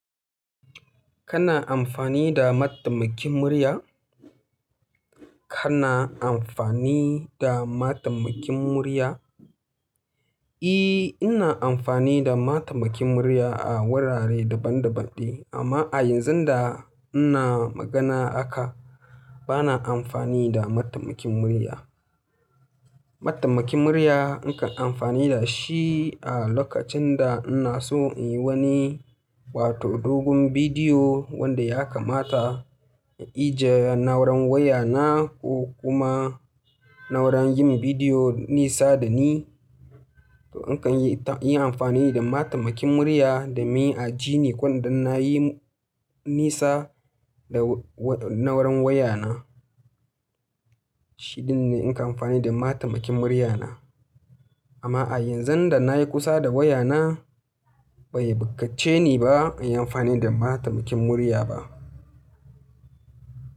Kana amfani da mataimakin murya? Kana amfani da matamakin murya? E, ina amfani da mataimakin murya a wurare daban daban, amma a yanzun da ina magana haka, bana amfani da matamakin murya. Mataimakin murya nakan amfani da shi a lokacin da ina so in yi wani wato dogon video wanda ya kamata in ije na'uran wayana ko kuma na'uran yin video nisa da ni. To na kan yi amfani da mataimakin murya do min a jini wanda nayi nisa da na'uran wayana. Shi ɗin ne na kan amfani da matamakin murya na. Amma a yanzun da nayi kusa da wayana, bai bukace ni ba in yi amfani da mataimakin murya ba.